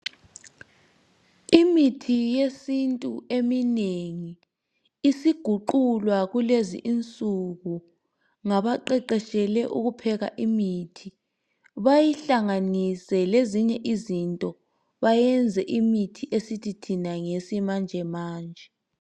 Imithi yesintu eminengi isiguqulwa kulezi insuku ngabaqeqeshelwe ukupheka imithi bayihlanganise lezinye izinto bayenze imithi esithi thina ngeyesimanjemanje.